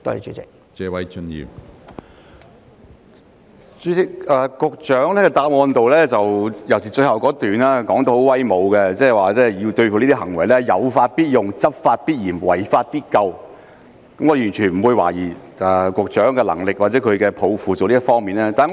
主席，局長的主體答覆，尤其是最後一段相當威武，表示會對這些行為"有法必用、執法必嚴、違法必究"，我完全不會懷疑局長在這些工作方面的能力或抱負。